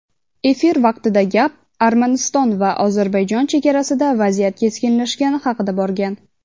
Efir vaqtida gap Armaniston va Ozarbayjon chegarasida vaziyat keskinlashgani haqida borgan.